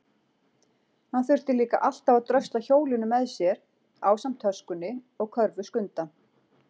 Hann þurfti líka alltaf að drösla hjólinu með sér ásamt töskunni og körfu Skunda.